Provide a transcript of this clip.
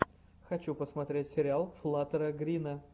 хочу посмотреть сериал флаттера грина